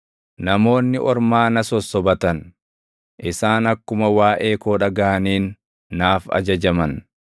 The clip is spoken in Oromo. Namoonni ormaa na sossobatan; isaan akkuma waaʼee koo dhagaʼaniin naaf ajajaman.